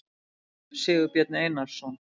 sigurbjörn einarsson